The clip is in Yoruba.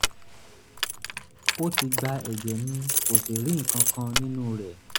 ó ti gba ẹ̀jẹ̀ mi kò sì rí nǹkan kan nínú rẹ̀